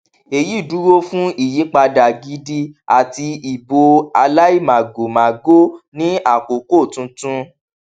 èyí dúró fún ìyípadà gidi àti ìbò aláìmàgòmágó ní àkókò tuntun